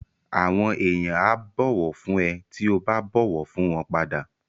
Àwọn èèyàn á bọ̀wọ̀ fún ẹ tí ó bá bọ̀wọ̀ fún wọn padà